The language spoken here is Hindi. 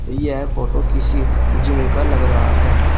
यह फोटो किसी जिम का लग रहा है।